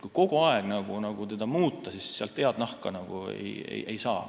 Kui kogu aeg teda muuta, siis sealt head nahka ei saa.